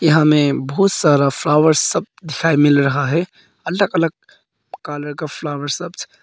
यहां हमें बहुत सारा फ्लावर्स सब दिखाई मिल रहा है अलग अलग कलर का फ्लावर